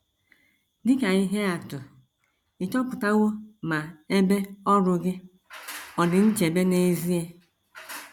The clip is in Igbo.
Dị ka ihe atụ, ị̀ chọpụtawo ma ebe ọrụ gị ọ̀ dị nchebe n’ezie?